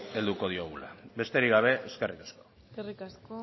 helduko diogula besterik gabe eskerrik asko eskerrik asko